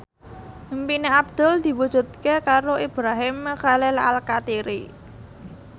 impine Abdul diwujudke karo Ibrahim Khalil Alkatiri